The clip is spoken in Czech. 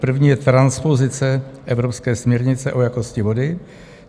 První je transpozice evropské směrnice o jakosti vody.